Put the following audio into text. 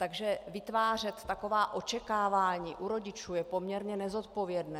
Takže vytvářet taková očekávání u rodičů je poměrně nezodpovědné.